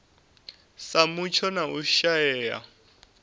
sa mutsho na u shaea